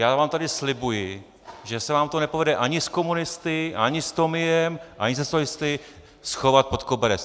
Já vám tady slibuji, že se vám to nepovede ani s komunisty, ani s Tomiem, ani se socialisty schovat pod koberec.